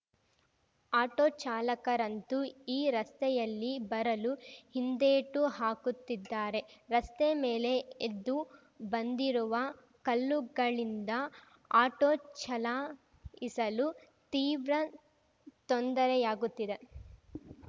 auto ಚಾಲಕರಂತೂ ಈ ರಸ್ತೆಯಲ್ಲಿ ಬರಲು ಹಿಂದೇಟು ಹಾಕುತ್ತಿದ್ದಾರೆ ರಸ್ತೆ ಮೇಲೆ ಎದ್ದು ಬಂದಿರುವ ಕಲ್ಲುಗಳಿಂದ ಆಟೋ ಚಲಾಯಿಸಲು ತೀವ್ರ ತೊಂದರೆಯಾಗುತ್ತಿದೆ